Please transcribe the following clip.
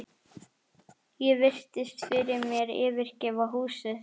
Ég virti fyrir mér yfirgefið húsið.